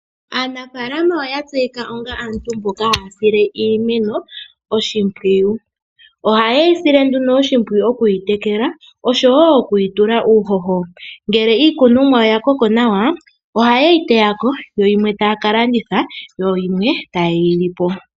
Aanafalama oya tseyika onga aantu mboka haya sile iimeno oshimpwiyu. Ohaye yi sile nduno oshimpwiyu okuyi tekela oshowo okuyi tula uuhoho. Ngele iikunomwa ya koko nawa ohaa yi teyako yo yimwe taya kalanditha, yo yimwe tayeyi lipo.